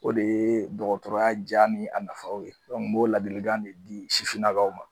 O de ye dɔgɔtɔrɔya ja ni a nafaw ye n b'o ladilikan de di sifininakaw ma